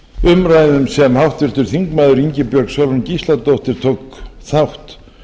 umræðum sem háttvirtur þingmaður ingibjörg sólrún gísladóttir tók þátt